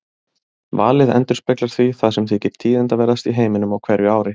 Valið endurspeglar því það sem þykir tíðindaverðast í heiminum á hverju ári.